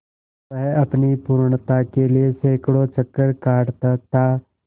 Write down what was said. वह अपनी पूर्णता के लिए सैंकड़ों चक्कर काटता था